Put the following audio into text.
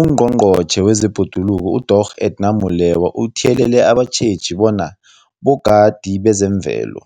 UNgqongqotjhe wezeBhoduluko uDorh Edna Molewa uthiyelele abatjheji bona bogadi bezemvelo,